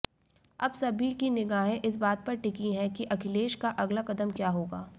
अब सभी की निगाहें इसबात पर टिकी हैं कि अखिलेश का अगला कदम क्या होगा